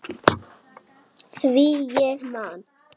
Átan hafi verið mjög góð